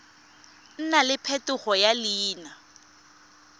nna le phetogo ya leina